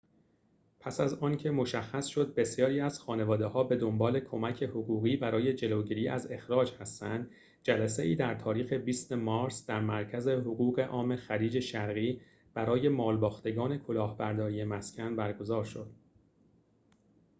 پس از آنکه مشخص شد بسیاری از خانواده‌ها به دنبال کمک حقوقی برای جلوگیری از اخراج هستند جلسه‌ای در تاریخ ۲۰ مارس در مرکز حقوق عام خلیج شرقی برای مالباختگان کلاهبرداری مسکن برگزار شد